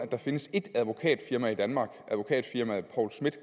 findes ét advokatfirma i danmark advokatfirmaet poul schmith